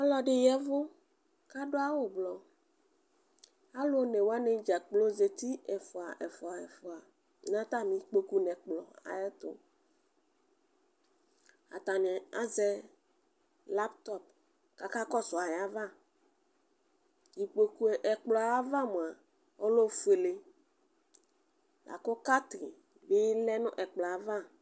Ɔlʋɛdi ya ɛve kʋ adʋ awʋ ʋblɔ alʋ ene wani dza kplo zeti ɛfʋa ɛfʋa nʋ atami ikpokʋ nʋ ɛkplɔ ayʋ ɛtʋ atani azɛ laptɔp kʋ akakɔsʋ ayʋ ava ɛkplɔyɛ ayʋ ava mʋa ɔlɛ ofuele lakʋ kati bi lɛnʋ ɛkplɔ yɛ ava